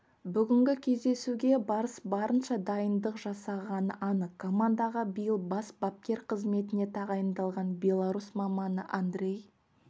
бүгінгі кездесуге барыс барынша дайындық жасағаны анық командаға биыл бас бапкер қызметіне тағайындалған беларусь маманы андрей